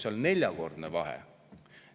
No seal on neljakordne vahe.